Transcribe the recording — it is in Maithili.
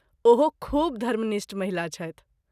ओहो खूब धर्मनिष्ठ महिला छथि।